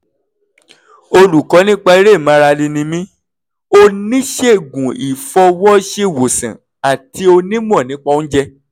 olùkọ́ nípa eré ìmárale ni mí oníṣègùn ìfọwọ́ṣèwòsàn àti onímọ̀ nípa oúnjẹ